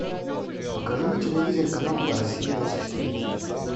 покажи на телевизоре канал россия двадцать четыре